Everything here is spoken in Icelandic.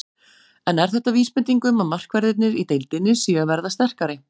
En er þetta vísbending um að markverðirnir í deildinni séu að verða sterkari?